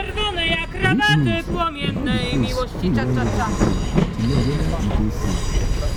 read news about um di place wey you um wan go holiday um to know weda e dey safe